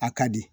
A ka di